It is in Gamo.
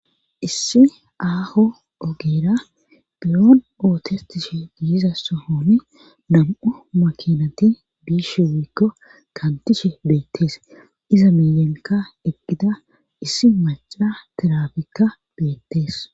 issi aaho ogeera biyon ootes tishe giiza sohoni nam7u makinati biishe wiikko kantishe beettees iza miyenka eqqida issi maca tiraabikka beettees